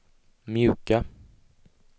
mjuka